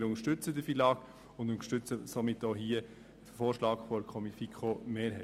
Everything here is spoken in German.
Wir unterstützen das FILAG und unterstützen somit auch den Vorschlag der FiKo-Mehrheit.